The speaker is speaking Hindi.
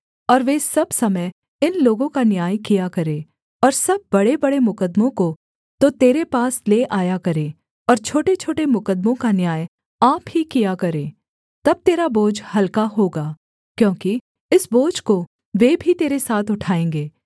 और वे सब समय इन लोगों का न्याय किया करें और सब बड़ेबड़े मुकद्दमों को तो तेरे पास ले आया करें और छोटेछोटे मुकद्दमों का न्याय आप ही किया करें तब तेरा बोझ हलका होगा क्योंकि इस बोझ को वे भी तेरे साथ उठाएँगे